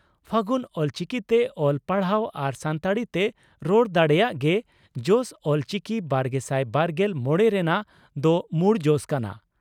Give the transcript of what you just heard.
ᱯᱷᱟᱹᱜᱩᱱ ᱚᱞᱪᱤᱠᱤᱛᱮ ᱚᱞ, ᱯᱟᱲᱦᱟᱣ ᱟᱨ ᱥᱟᱱᱛᱟᱲᱤ ᱛᱮ ᱨᱚᱲ ᱫᱟᱲᱮᱭᱟᱜ ᱜᱮ "ᱡᱚᱥ ᱚᱞᱪᱤᱠᱤᱼᱵᱟᱨᱜᱮᱥᱟᱭ ᱵᱟᱨᱜᱮᱞ ᱢᱚᱲᱮ " ᱨᱮᱱᱟᱜ ᱫᱚ ᱢᱩᱲ ᱡᱚᱥ ᱠᱟᱱᱟ ᱾